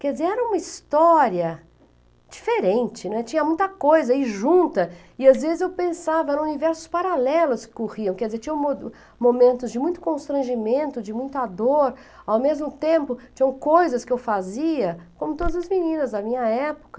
Quer dizer, era uma história diferente, né, tinha muita coisa aí junta e às vezes eu pensava, eram universos paralelos que corriam, quer dizer, tinham mo tinham momentos de muito constrangimento, de muita dor, ao mesmo tempo tinham coisas que eu fazia, como todas as meninas da minha época.